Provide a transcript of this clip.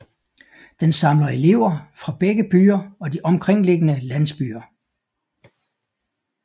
Den samler elever fra begge byer og de omkringliggende landsbyer